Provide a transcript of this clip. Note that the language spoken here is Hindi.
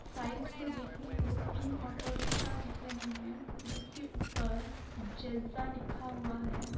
साइड से देखने को तीन ऑटो रिक्शा दिख रहे हैं जिस के ऊपर जजा लिखा हुआ है।